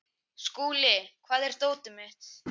Skúli, hvar er dótið mitt?